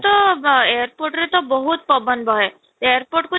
ତ airport ରେ ତ ବହୁତ ପବନ ବହେ airport କୁ ଛାଡି